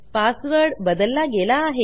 password बदलला गेला आहे